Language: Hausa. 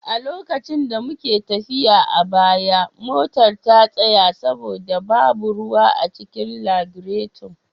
A lokacin da muke tafiya a baya, motar ta tsaya saboda babu ruwa a cikin lagireto.